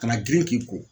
Kana girin k'i ko